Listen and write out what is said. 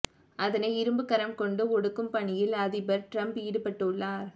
அதனை இரும்புக்கரம் கொண்டு ஒடுக்கும் பணியில் அதிபர் டிரம்ப் ஈடுபட்டுள்ளார்